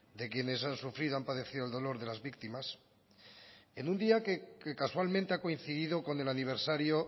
de quienes han sufrido han padecido el dolor de las víctimas en un día que casualmente ha coincidido con el aniversario